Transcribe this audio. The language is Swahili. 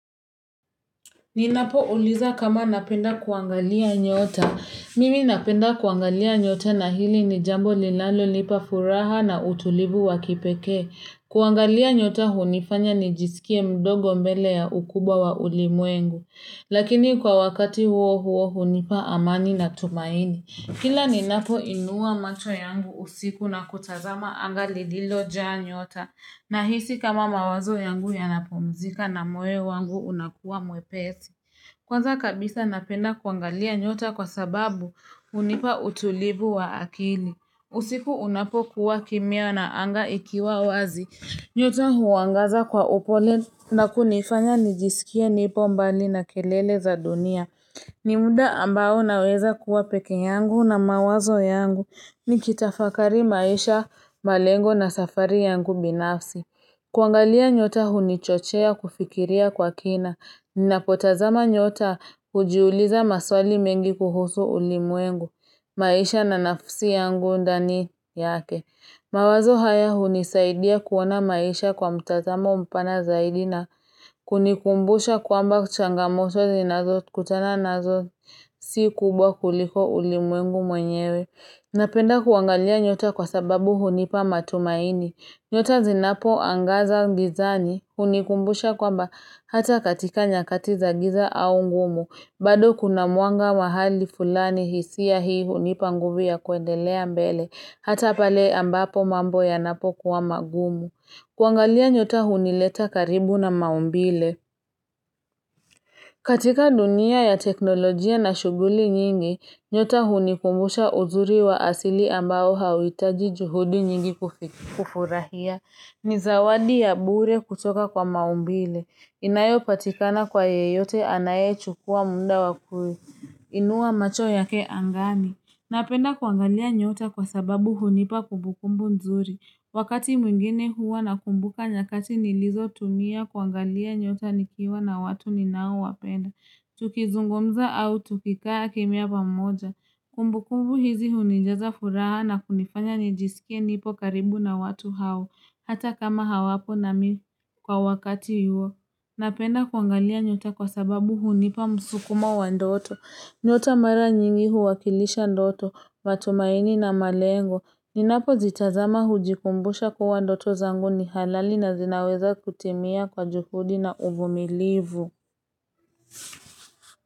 Ninapo uliza kama napenda kuangalia nyota. Mimi napenda kuangalia nyota na hili ni jambo linalo lipa furaha na utulivu wakipekee. Kuangalia nyota hunifanya ni jisikie mdogo mbele ya ukubwa wa ulimwengu. Lakini kwa wakati huo huo hunipa amani na tumaini. Kila ninapo inua macho yangu usiku na kutazama anga lililo jaa nyota, nahisi kama mawazo yangu yanapumzika na moyo wangu unakuwa mwepesi. Kwanza kabisa napenda kuangalia nyota kwasababu hunipa utulivu wa akili. Usiku unapo kuwa kimya na anga ikiwa wazi. Nyota huangaza kwa upole na kunifanya nijisikie nipo mbali na kelele za dunia. Ni muda ambao naweza kuwa peke yangu na mawazo yangu ni kitafakari maisha, malengo na safari yangu binafsi. Kuangalia nyota huni chochea kufikiria kwa kina na kutazama nyota hujiuliza maswali mengi kuhusu ulimwengu, maisha na nafsi yangu ndani yake. Mawazo haya hunisaidia kuona maisha kwa mtazamo mpana zaidi na kunikumbusha kwamba changamoto zinazo kutana nazo si kubwa kuliko ulimwengu mwenyewe. Napenda kuangalia nyota kwasababu hunipa matumaini. Nyota zinapo angaza gizani hunikumbusha kwamba hata katika nyakati za giza au ngumu, bado kuna mwanga mahali fulani hisia hii hunipa nguvi ya kuendelea mbele. Hata pale ambapo mambo yanapokuwa magumu. Kuangalia nyota hunileta karibu na maumbile. Katika dunia ya teknolojia na shughuli nyingi, nyota hunikumbusha uzuri wa asili ambao hauitaji juhudi nyingi kufurahia. Ni zawadi ya bure kutoka kwa maumbile. Inayo patikana kwa yeyote anayechukua muda wakuinua macho yake angani. Napenda kuangalia nyota kwasababu hunipa kumbukumbu nzuri. Wakati mwingine huwa nakumbuka nyakati nilizo tumia kuangalia nyota nikiwa na watu ninao wapenda. Tukizungumza au tukikaa kimya pamoja. Kumbukumbu hizi hunijaza furaha na kunifanya nijisike nipo karibu na watu hao. Hata kama hawapo nami kwa wakati huo Napenda kuangalia nyota kwasababu hunipa msukumo wa ndoto. Nyota mara nyingi huwakilisha ndoto, matumaini na malengo. Ninapo zitazama hujikumbusha kuwa ndoto zangu ni halali na zinaweza kutimia kwa juhudi na uvumilivu.